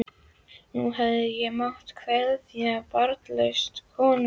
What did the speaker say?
Núna hefði ég mátt kveðja, barnlaus kona í skógi.